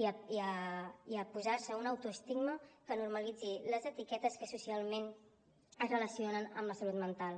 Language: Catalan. i a posar se un autoestigma que normalitzi les etiquetes que socialment es relacionen amb la salut mental